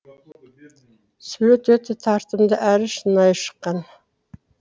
сурет өте тартымды әрі шынайы шыққан